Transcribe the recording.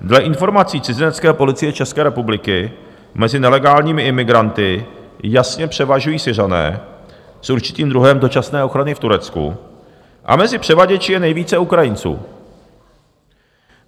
Dle informací cizinecké policie České republiky mezi nelegálními imigranty jasně převažují Syřané s určitým druhem dočasné ochrany v Turecku a mezi převaděči je nejvíce Ukrajinců.